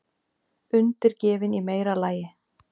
Undirgefin í meira lagi.